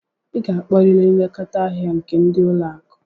Ị ga-akpọrịrị nlekọta ndị ahịa nke ụlọ akụ!